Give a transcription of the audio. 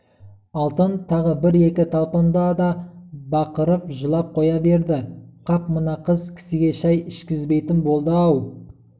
алтын тағы бір-екі талпынды да бақырып жылап қоя берді қап мына қыз кісіге шай ішкізбейтін болды-ау